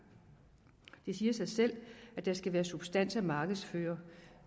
det siger sig selv at der skal være substans at markedsføre